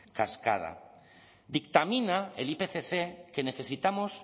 cascada dictamina el ipcc que necesitamos